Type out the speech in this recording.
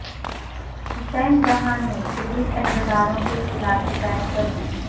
حسین جہاں نے پولیس عہدیداروں کے خلاف شکایت کردی